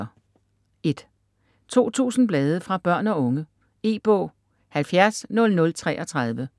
2000 blade fra børn og unge E-bog 700033